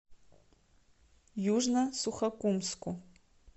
южно сухокумску